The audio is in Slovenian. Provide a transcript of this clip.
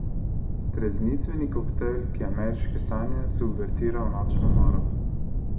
Streznitveni koktejl, ki ameriške sanje subvertira v nočno moro.